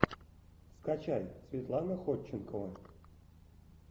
скачай светлана ходченкова